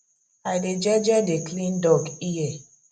i dey jeje dey clean dog ear